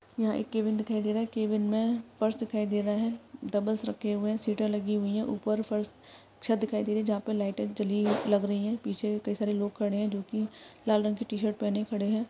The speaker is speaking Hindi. यहाँ एक कैबिन दिखाई दे रहा है कैबिन मे पर्स दिखाई दे रहा है डंबल्स रखे हुए है सीटा लगी हुई है ऊपर फर्श- छत दिखाई दे रही है जहाँ पर लाईटे जली हुई लग रही है पीछे कई सारे लोग खड़े है जो कि लाल रंग के टी-शर्ट पहने खड़े है।